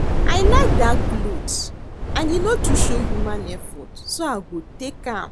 I like dat cloth and e no too show human effort so I go take am